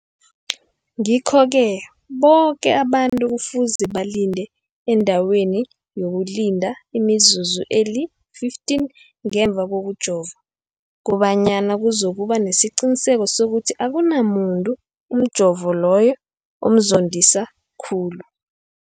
Ngikho-ke boke abantu kufuze balinde endaweni yokulinda imizuzu eli-15 ngemva kokujova, koba nyana kuzokuba nesiqiniseko sokuthi akunamuntu umjovo loyo omzondisa khulu.